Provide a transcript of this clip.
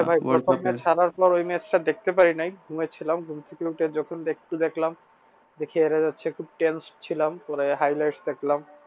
হ্যাঁ ভাই ওই match টা দেখতে পারি নাই ঘুমাই ছিলাম ঘুম থেকে উঠে যখন দেখলাম দেখি হেরে যাচ্ছে খুব tensed ছিলাম পরে highlights দেখলাম।